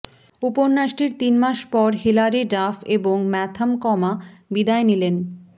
উপন্যাসটির তিন মাস পর হিলারি ডাফ এবং ম্যাথাম কমা বিদায় নিলেন